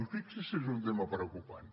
i fixi’s si és un tema preocupant